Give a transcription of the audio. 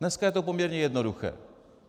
Dneska je to poměrně jednoduché.